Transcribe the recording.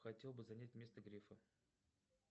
хотел бы занять место грефа